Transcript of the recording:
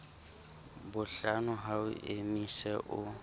bohlano ha o emise o